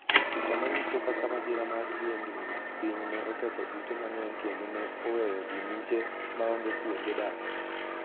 Picha manyiso kaka masira mar yiengni piny ne oketho ute mang'eny kendo ne oweyo ji miche maonge kuonde dak.